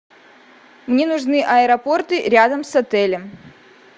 мне нужны аэропорты рядом с отелем